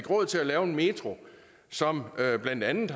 råd til at lave en metro som blandt andet